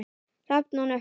Hrafn og Nökkvi.